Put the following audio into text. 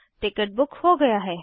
ticket book हो गया है